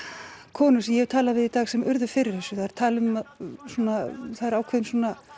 konur sem ég hef talað við í dag sem urðu fyrir þessu þær tala um og það er ákveðinn